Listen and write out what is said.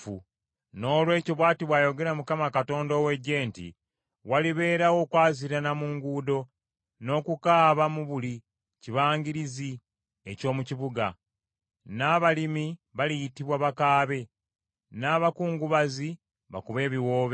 Noolwekyo bw’ati bw’ayogera Mukama Katonda ow’Eggye nti, “Walibeerawo okwaziirana mu nguudo n’okukaaba mu buli kibangirizi eky’omu kibuga. N’abalimi baliyitibwa, bakaabe, n’abakungubazi bakube ebiwoobe.